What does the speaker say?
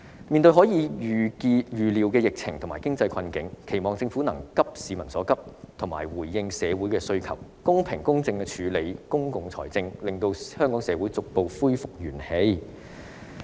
面對未可預料的疫情和經濟困境，期望政府能急市民所急，及時回應社會的需求，公平公正地處理公共財政，令香港社會逐步恢復元氣。